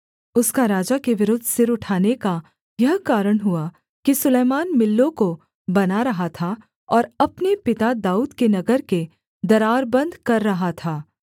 उसका राजा के विरुद्ध सिर उठाने का यह कारण हुआ कि सुलैमान मिल्लो को बना रहा था और अपने पिता दाऊद के नगर के दरार बन्द कर रहा था